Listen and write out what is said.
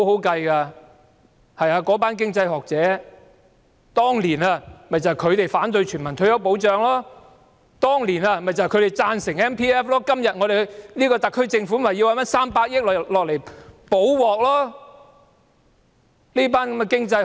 當年，便是那群經濟學學者反對全民退休保障；當年，便是他們贊成強制性公積金計劃，以致今天特區政府要拿出300億元"補鑊"。